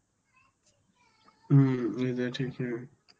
হম এটা ঠিকই.